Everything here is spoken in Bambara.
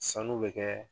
Sanu bɛ kɛ